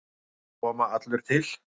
Ég er að koma allur til.